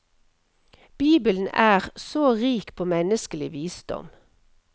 Bibelen er så rik på menneskelig visdom.